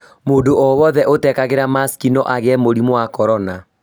Mũndũ o wothe ũtekagĩra masiki no agĩe mũrimũ wa korona